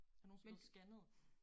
Er du nogensinde blevet scannet?